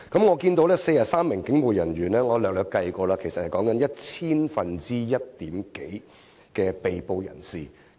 我察悉有43名警務人員被捕，我粗略計算過，其實即是千分之一點多。